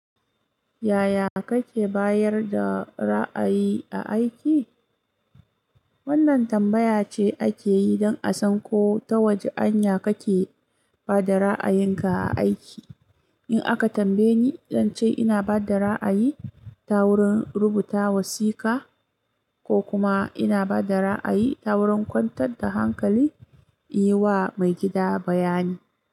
Yaya kake bayar da ra'ayi a aiki? Wannan tambaya ce ake yi don a san ko ta wace hanya kake ba da ra'ayinka a aiki. In aka tambaye ni, zan ce ina ba da ra'ayi ta wurin rubuta wasiƙa, ko kuma ina ba da ra'ayi ta wurin kwantar da hankali, yi wa maigida bayani.